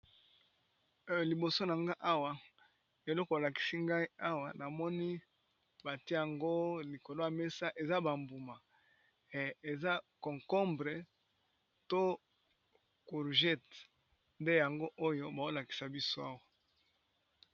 Liboso nanga awa eloko balakisi nga awa namoni batiye yango likolo ya mesa eza bambuma ya koliya eza cocombre